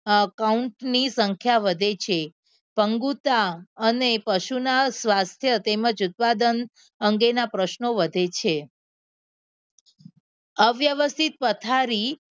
count ની સંખ્યા વધે છે અંગૂઠા અને પશુના સ્વચ્છ તેમજ ઉત્પાદન અંગેના પ્રશ્નો વધે છે અવ્યવસ્થિત પથારી